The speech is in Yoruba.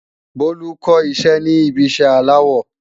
Bolu kó iṣẹ́ ní ibi iṣẹ́ aláwọ